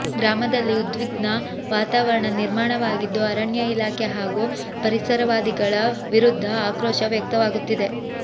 ಗ್ರಾಮದಲ್ಲಿ ಉದ್ವಿಗ್ನ ವಾತಾವರಣ ನಿರ್ಮಾಣವಾಗಿದ್ದು ಅರಣ್ಯ ಇಲಾಖೆ ಹಾಗು ಪರಿಸರವಾದಿಗಳ ವಿರುದ್ಧ ಆಕ್ರೋಶ ವ್ಯಕ್ತವಾಗುತ್ತಿದೆ